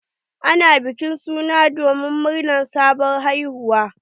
Ana bikin suna domin murnar sabon haihuwa.